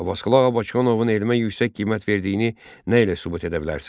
Abbasqulu Ağa Bakıxanovun elmə yüksək qiymət verdiyini nə ilə sübut edə bilərsən?